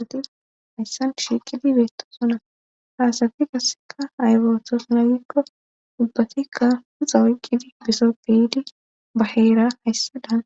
asati hayssan shiiqidi beetto sona haasati kasseka aybetos laayikko dubbatikka huxa wuyqqidi bisoppeyidi baheera hayssadaan